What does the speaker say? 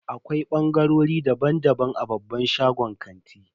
Akwai bangarori daban-daban a babban shagunan kanti.